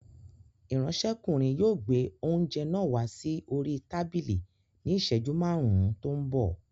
Ìránṣẹ́kùnrin yóò gbé oúnjẹ náà wá sí orí tábìlì ní ìṣẹ́jú márùn-ún tó ń bọ̀